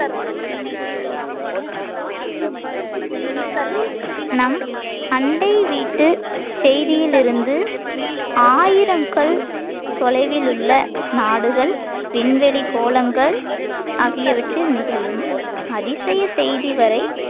நம் அண்டை வீட்டு செய்தியிலிருந்து ஆயிரம் கல் தொலைவில் உள்ள நாடுகள் விண்வெளிக் கோளங்கள் ஆகியவற்றில் நிகழும் அதிசய செய்தி வரை